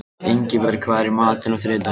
Ingiborg, hvað er í matinn á þriðjudaginn?